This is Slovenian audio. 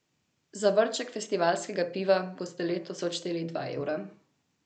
Za vrček festivalskega piva boste letos odšteli dva evra.